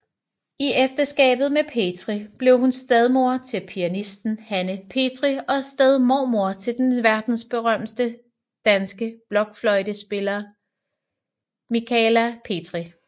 I ægteskabet med Petri blev hun stedmor til pianisten Hanne Petri og stedmormor til den verdensberømte danske blokfløjtespiller Michala Petri